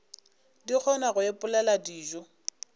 di kgona go ipopela dijo